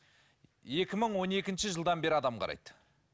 екі мың он екінші жылдан бері адам қарайды